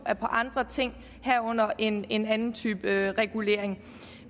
er på andre ting herunder en en anden type regulering